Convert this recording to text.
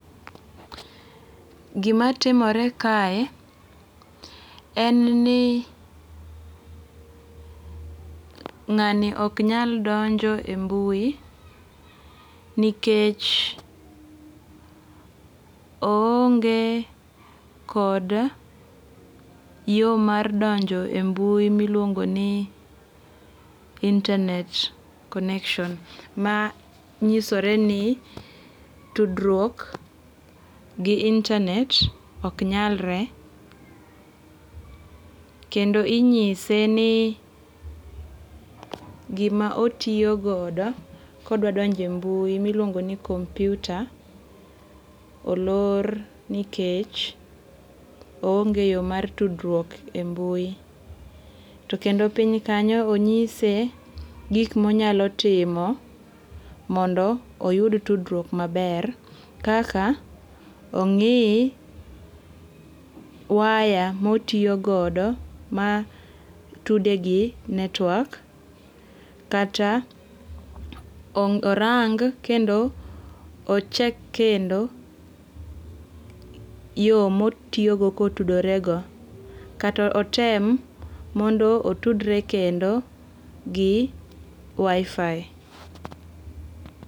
Gima timore kae en ni ng'ani ok nyal donjo e mbui nikech oonge kod yo mar donjo e mbui miluongo ni internet] connection. Ma nyisore ni tudruok gi internet ok nyalre. Kendo inyise ni gima otiyo godo kodwadonjo e mbui miluongo ni kompyuta olor nikech oonge yo mar tudruok e mbui. To kendo piny kanyo onyise gik monyalo timo mondo oyud tudruok maber. Kaka ong'i waya motiyogodo matude gi network kata orang kendo ochek kendo yo motiyogo kotudorego. Kata otem mondo otudre kendo gi WiFi.